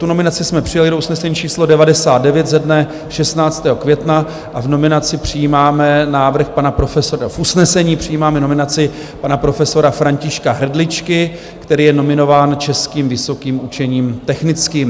Tu nominaci jsme přijali do usnesení číslo 99 ze dne 16. května a v usnesení přijímáme nominaci pana profesora Františka Hrdličky, který je nominován Českým vysokým učením technickým.